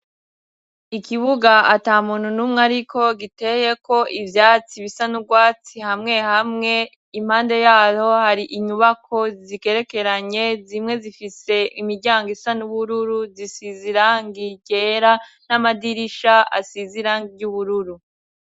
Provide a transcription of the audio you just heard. Ikibuga atamuntu numwe ariko giteyeko ivyatsi bisa n'ugwatsi hamwe hamwe impande yayo har'inyubako zigerekeranye zimwe zifise imiryango isa n'ubururu zisiz'irangi ryera n'amadirisha asiz'irangi ry'ubururu.